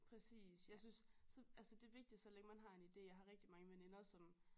Præcis jeg synes så altså det er vigtigt så længe man har en idé jeg har rigtig mange veninder som